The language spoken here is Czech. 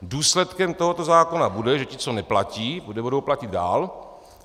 Důsledkem tohoto zákona bude, že ti, co neplatí, nebudou platit dál.